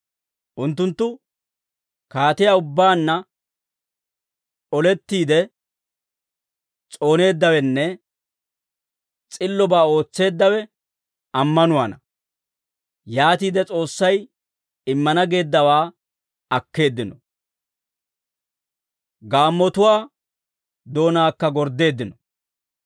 Unttunttu kaatiyaa ubbaanna olettiide s'ooneeddawenne s'illobaa ootseeddawe ammanuwaana; yaatiide S'oossay immana geeddawaa akkeeddino; gaammotuwaa doonaakka gorddeeddino.